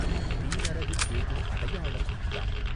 தீநரகுக் கேகும் அடையாளம் இஃதாம்